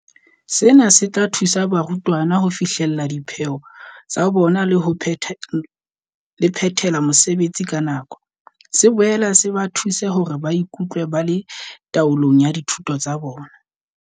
Sena se tla thusa barutwana ho fihlella dipheo tsa bona le ho phethela mosebetsi ka nako, se boele se ba thuse hore ba ikutlwe ba le taolong ya dithuto tsa bona.